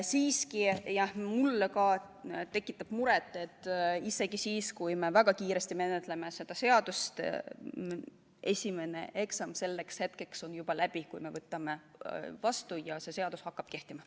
Siiski mulle tekitab muret, et isegi siis, kui me väga kiiresti menetleme seda eelnõu, on esimene eksam selleks hetkeks juba läbi, kui me võtame seaduse vastu ja see hakkab kehtima.